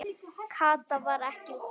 Kata var ekki komin.